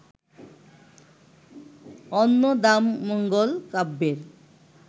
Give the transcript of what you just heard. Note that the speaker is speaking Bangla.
অন্নদামঙ্গল কাব্যের